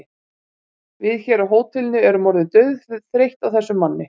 Við hér á hótelinu erum orðin dauðþreytt á þessum manni.